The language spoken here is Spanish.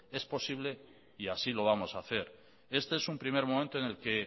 es posible y así lo vamos a hacer este es un primer momento en el que